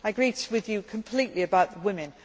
I agree with you completely about women.